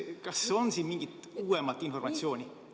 Kas on siin mingit uuemat informatsiooni?